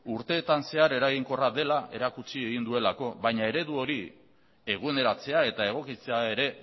urteetan zehar eraginkorra dela erakutsi egin duelako baina eredu hori eguneratzea eta egokitzea ere